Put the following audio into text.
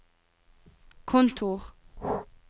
kontor